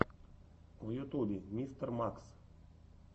в ютубе мистер макс